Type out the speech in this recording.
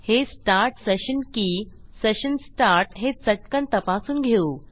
हे start session की session start हे चटकन तपासून घेऊ